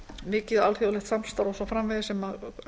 mikið og alþjóðlegt samstarf og svo framvegis sem